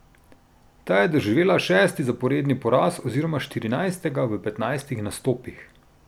Ta je doživela šesti zaporedni poraz oziroma štirinajstega v petnajstih nastopih.